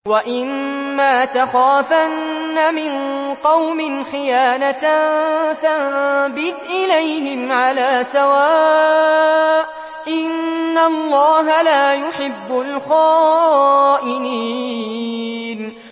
وَإِمَّا تَخَافَنَّ مِن قَوْمٍ خِيَانَةً فَانبِذْ إِلَيْهِمْ عَلَىٰ سَوَاءٍ ۚ إِنَّ اللَّهَ لَا يُحِبُّ الْخَائِنِينَ